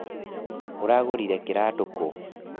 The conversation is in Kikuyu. ũragũrire kiratũ kũũ?